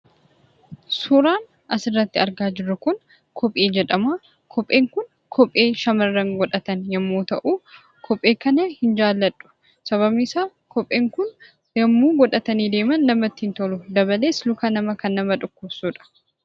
Suuraan asirratti argaa jirru kun kophee jedhama. Kopheen kun kophee shamarran godhatan yommuu ta'u, kophee kana hin jaalladhu. Sababni isaa, kopheen kun yommuu godhatanii deeman namatti hin tolu. Dabalees, luka namaa kan nama dhukkubsuudha.